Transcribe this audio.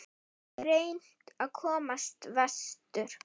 Reynt að komast vestur